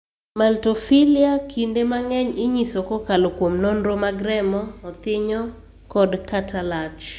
maltophilia) kinde mang'eny inyiso kokalo kuom nonoro mag remo, othinyo, kod/ kata lach.